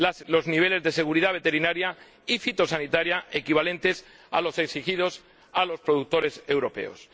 los niveles de seguridad veterinaria y fitosanitaria equivalentes a los exigidos a los productores europeos.